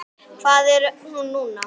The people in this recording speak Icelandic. Hvar er hún núna?